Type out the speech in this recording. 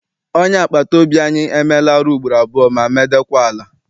Onye agbata obi anyị emeela arụ ugboro abụọ ma meda kwa ala.